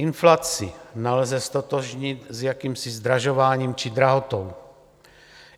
Inflaci nelze ztotožnit s jakýmsi zdražováním či drahotou.